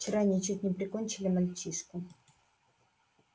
вчера они чуть не прикончили мальчишку